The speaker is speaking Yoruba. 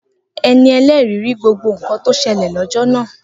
Eni ẹlẹri ri gbogbo nkan to ṣẹlẹ̀ lọ́jọ́ náà